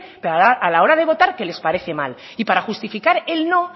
pero que a la hora de votar que les parece mal y para justificar el no